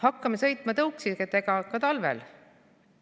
Hakkame sõitma tõuksidega ka talvel?